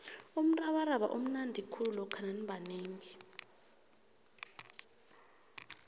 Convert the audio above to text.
umrabaraba umnandi khulu lokha nanibanengi